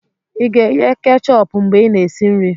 ị ga-eghe kechọpụ mgbe ị na-esi nri?